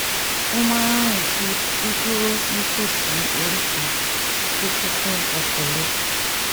ó máa ń rìn ju dídúró nítòsí oríta tó kún fún ọkọ̀ lọ